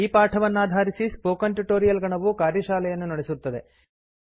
ಈ ಪಾಠವನ್ನಾಧಾರಿಸಿ spoken tutorial ಗಣವು ಕಾರ್ಯಶಾಲೆಯನ್ನು ನಡೆಸುತ್ತದೆ